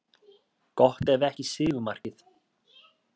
Gott ef ekki sigurmarkið.